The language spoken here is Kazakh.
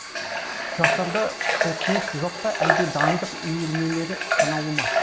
жастарда құлшыныс жоқ па әлде дайындық үйірмелері санаулы ма